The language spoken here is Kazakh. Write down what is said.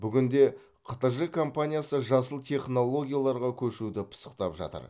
бүгінде қтж компаниясы жасыл технологияларға көшуді пысықтап жатыр